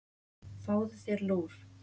Fáðu þér lúr.